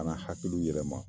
A nana hakiliw yɛlɛma.